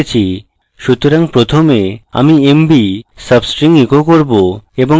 সুতরাং প্রথমে আমি mb substring echo করব